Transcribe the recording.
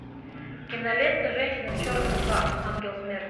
кинолента женщина в черном два ангел смерти